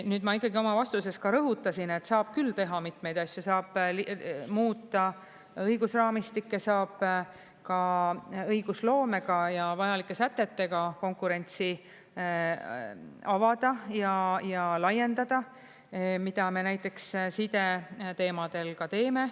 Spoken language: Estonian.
Nüüd, ma ikkagi oma vastuses ka rõhutasin, et saab küll teha mitmeid asju, saab muuta õigusraamistikke, saab ka õigusloomega ja vajalike sätetega konkurentsi avada ja laiendada, mida me näiteks sideteemadel ka teeme.